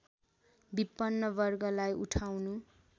विपन्न वर्गलाई उठाउनु